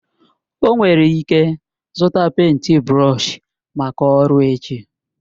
O nwere ike zụta pèịnt brọọshi maka ọrụ echi